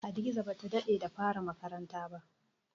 Hadiza ba ta daɗe da fara makaranta ba.